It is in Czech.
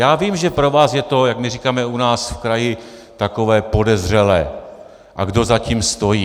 Já vím, že pro vás je to, jak my říkáme u nás v kraji, takové podezřelé, a kdo za tím stojí?